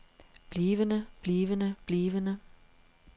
blivende blivende blivende